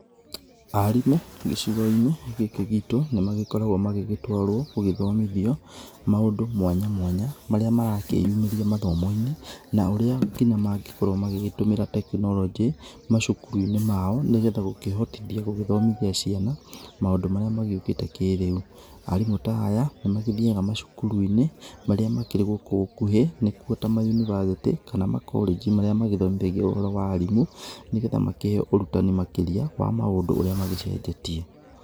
Aarimũ gĩcigo-inĩ gĩĩkĩ giitũ, nĩ magĩkoragwo magĩgĩtwarwo gũgĩthomithio maũndũ mwanya mwanya marĩa marakĩyumĩria mathomo-inĩ na ũrĩa kinya mangĩkorwo magĩgĩtũmĩra tekinoronjĩ macukuru-inĩ mao nĩgetha gũkĩhotithia gũgĩthomithia ciana maũndũ marĩa magĩũkĩte kĩrĩu. Aarimũ ta aya nĩ mathiaga macukuru-inĩ marĩa makĩrĩ gũkũ gũkuhĩ nĩ kuo ta ma university kana ma college marĩa marĩa magĩthomithagia ũhoro wa aarimũ nĩgetha makĩheo ũrutani makĩria wa maũndũ ũrĩa magĩcenjetie.